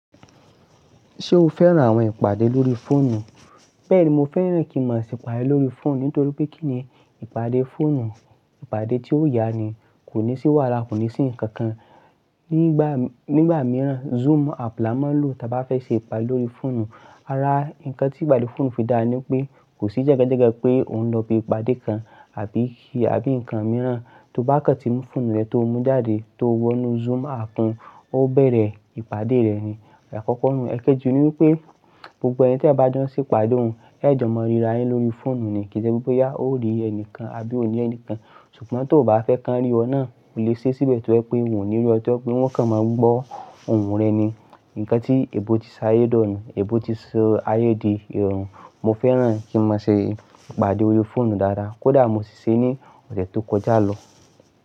Ṣé o fẹ́ran àwọn ìpàdé lórí fóònù? Bẹ́ẹ̀ni, mo fẹ́ran kí mọ̀ se ìpàdé lórí fóònù nítorí pé kí ni ìpàdé fóònù? Ìpàdé tí ó ya ni, kò ní sí wàlà, kò ní sí nǹkan kan. Nígbà, nígbà mìíràn Zoom app la máa ń lò tí a bá fẹ́ ṣe ìpàdé lórí fóònù. Ara nǹkan tí ìpàdé fóònù fi dá ni pé kò sí jẹ́gẹ́jẹ́gẹ́ pé òun lọ ibi ìpàdé kan àbí kí àbí nǹkan mìíràn. Tí o bá kàn tí mú fóònù rẹ tó mú jáde tó wọnú Zoom app ọ bẹ̀rẹ̀ ìpàdé rẹ ni. Ẹ̀kọkọ́ nù, ẹkéjì ni wípé gbogbo ẹni tí a bá dán sí ìpàdé òun, ẹ jọ mọ ríra yín lórí fóònù ni kì í ṣe wípé yá o rí ẹni kan àbí o nílẹ̀ ẹni kan. Ṣùgbọ́n tí o ò bá fẹ́ kí wọn rí ọ náà o lè ṣe síbẹ̀ tó ẹ pé mò nìlú ọ̀tọ̀ọ́ pé wón kàn máa gbọ́ ohùn rẹ ni. Nǹkan tí èèbó ti ṣayé dọ́ ni, èèbó ti ṣayé di ìrọ̀rùn. Mo fẹ́ran kí mọ̀ ṣe ìpàdé lórí fóònù dáradára. Kódà mo ṣì ṣe ní ọ̀sẹ̀ tó kọjá lọ.